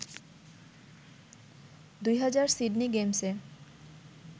২০০০ Sydney গেমসে